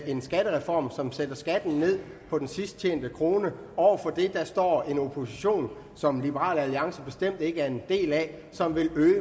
en skattereform som sætter skatten ned på den sidst tjente krone over for det står en opposition som liberal alliance bestemt ikke er en del af og som vil øge